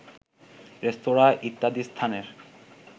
রেস্তোরাঁ ইত্যাদি স্থানের